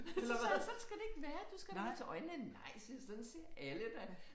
Så sagde han sådan skal det ikke være. Du skal da med til øjenlægen nej siger jeg sådan ser alle da